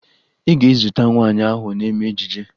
Ị ga-ezute nwaanyị ahụ na-eme ejije